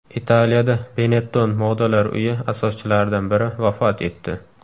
Italiyada Benetton modalar uyi asoschilaridan biri vafot etdi.